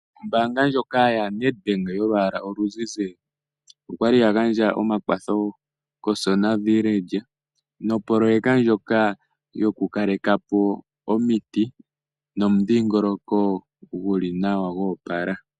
Ombaanga ndjoka yaNedbank yolwaala oluzizi, oya gandja omakwatho komukunda Osona nopoloyeka ndjoka yokukaleka po omiti nomudhingoloko gu li nawa gwoopala.